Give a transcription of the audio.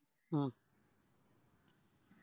ഉം